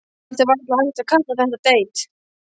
Samt er varla hægt að kalla þetta deit.